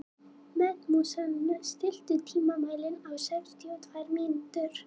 Methúsalem, stilltu tímamælinn á sextíu og tvær mínútur.